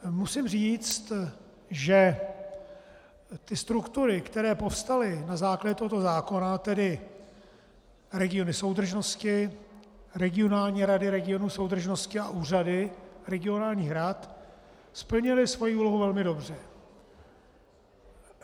Musím říct, že ty struktury, které povstaly na základě tohoto zákona, tedy regiony soudržnosti, regionální rady regionů soudržnosti a úřady regionálních rad, splnily svou úlohu velmi dobře.